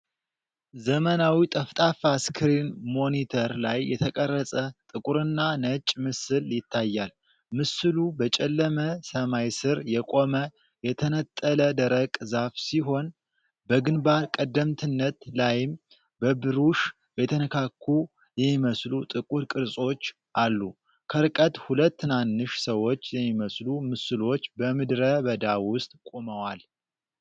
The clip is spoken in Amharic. ዘመናዊ ጠፍጣፋ ስክሪን ሞኒተር ላይ የተቀረጸ ጥቁርና ነጭ ምስል ይታያል። ምስሉ በጨለመ ሰማይ ስር የቆመ የተነጠለ ደረቅ ዛፍ ሲሆን፤ በግንባር ቀደምትነት ላይም በብሩሽ የተነካኩ የሚመስሉ ጥቁር ቅርጾች አሉ። ከርቀት ሁለት ትናንሽ ሰዎች የሚመስሉ ምስሎች በምድረ በዳ ውስጥ ቆመዋል።